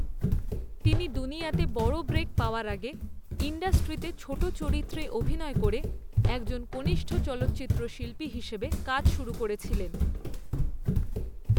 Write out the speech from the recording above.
তিনি দুনিয়া তে বড় ব্রেক পাওয়ার আগে ইন্ডাস্ট্রিতে ছোট চরিত্রে অভিনয় করে একজন কনিষ্ঠ চলচ্চিত্র শিল্পী হিসেবে কাজ শুরু করেছিলেন।